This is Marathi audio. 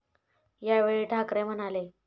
यावेळी ठाकरे म्हणाले.